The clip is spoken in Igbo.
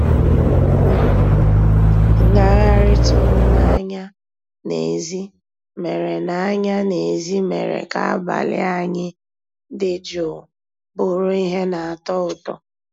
Ngàghàrị́ tụ̀rụ̀ n'ànyá n'èzí mérè n'ànyá n'èzí mérè ká àbàlí ànyị́ dị́ jụ́ụ́ bụ́rụ́ íhé ná-àtọ́ ụtọ́.